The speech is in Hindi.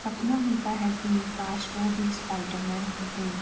सपना होता है कि काश वो भी स्‍पाइडर मेन होते --